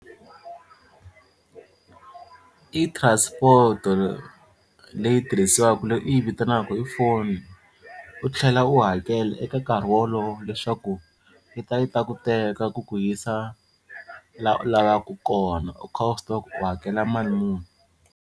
I transport-o leyi tirhisiwaka leyi u yi vitanaka i foni u tlhela u hakela eka nkarhi wolowo leswaku yi ta yi ta ku teka ku ku yisa laha u lavaka kona u kha u swi tiva ku u hakela mali muni.